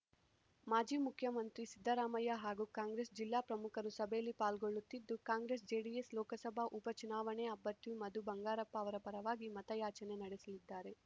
ಮಾಜಿ ಮುಖ್ಯಮಂತ್ರಿ ಸಿದ್ದರಾಮಯ್ಯ ಹಾಗೂ ಕಾಂಗ್ರೆಸ್‌ ಜಿಲ್ಲಾ ಪ್ರಮುಖರು ಸಭೆಯಲ್ಲಿ ಪಾಲ್ಗೊಳ್ಳುತ್ತಿದ್ದು ಕಾಂಗ್ರೆಸ್‌ಜೆಡಿಎಸ್‌ ಲೋಕಸಭಾ ಉಪಚುನಾವಣೆ ಅಭ್ಯತು ಮಧು ಬಂಗಾರಪ್ಪ ಅವರ ಪರವಾಗಿ ಮತಯಾಚನೆ ನಡೆಸಲಿದ್ದಾರೆ